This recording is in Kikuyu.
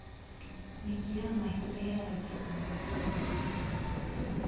Nyeki ya mahiũ ĩheragio o wiki.